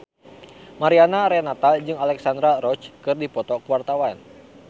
Mariana Renata jeung Alexandra Roach keur dipoto ku wartawan